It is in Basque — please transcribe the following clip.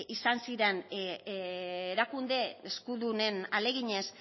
izan ziren erakunde eskudunen ahaleginez